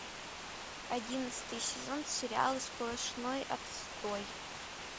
одиннадцатый сезон сериала сплошной отстой